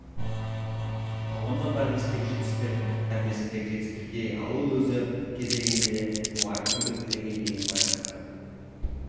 қоғамдық прогрестегі жетістіктер болашақ ұрпақтың білімі мен тәрбиесіндегі жетістіктерге ал ол өз кезегінде мұғалімнің білік деңгейіне байланысты